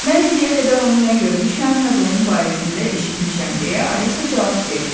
Mən indiyə qədər onu nə görmüşəm, nə də onun barəsində eşitmişəm deyə Alisa cavab verdi.